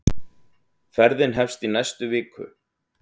Ferðin hefst í næstu viku.